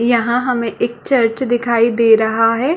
यहाँ हमें एक चर्च दिखाई दे रहा हैं ।